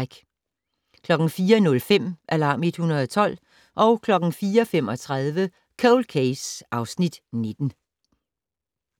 04:05: Alarm 112 04:35: Cold Case (Afs. 19)